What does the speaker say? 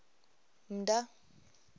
mdda